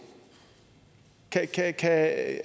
at